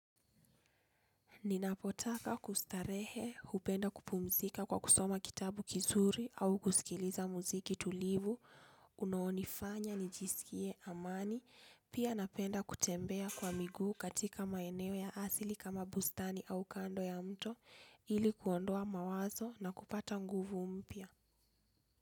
Ninapotaka kustarehe, hupenda kupumzika kwa kusoma kitabu kizuri au kusikiliza muziki tulivu, unaonifanya, nijisikie, amani, pia napenda kutembea kwa miguu katika maeneo ya asili kama bustani au kando ya mto, ili kuondoa mawazo na kupata nguvu mpya.